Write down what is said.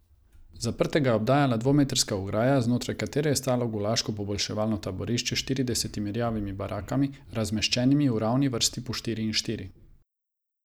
Zaprtega je obdajala dvometrska ograja, znotraj katere je stalo gulaško poboljševalno taborišče s štiridesetimi rjavimi barakami, razmeščenimi v ravni vrsti po štiri in štiri.